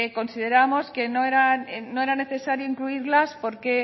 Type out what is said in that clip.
consideramos que no era necesario incluirlas porque